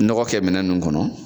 Nɔgɔ kɛ minɛn nunnu kɔnɔ